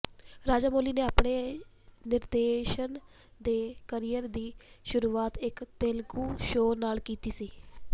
ਰਾਜਾਮੌਲੀ ਨੇ ਆਪਣੇ ਨਿਰਦੇਸ਼ਨ ਦੇ ਕਰੀਅਰ ਦੀ ਸ਼ੁਰੂਆਤ ਇਕ ਤੇਲਗੂ ਸ਼ੋਅ ਨਾਲ ਕੀਤੀ ਸੀ